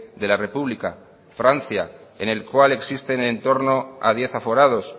de la república francia en el cual existen en torno a diez aforados